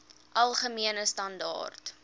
algemene standaar